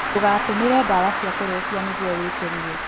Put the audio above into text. Ndũgatũmĩre ndawa cia kũrebia nĩguo wĩkenie